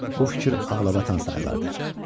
bu fikir ağlabatan sayılardı.